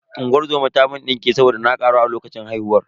Unguwar zoma ta mun ɗinki saboda na ƙaru a lokacin haihuwa.